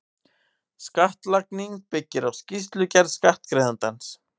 Skattlagning byggir á skýrslugerð skattgreiðandans.